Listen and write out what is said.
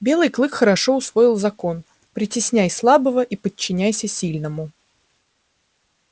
белый клык хорошо усвоил закон притесняй слабого и подчиняйся сильному